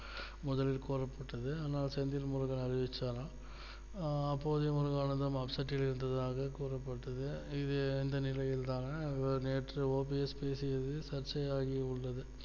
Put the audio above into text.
முதலில் கூறப்பட்டது ஆனால் செந்தில் முருகன் அறிவிச்சாராம் அப்போது முருகானந்தம் upset ல் இருந்ததாக கூறப்பட்டது இது இந்த நிலையில் தான் நேற்று OPS பேசியது சர்ச்சையாகி உள்ளது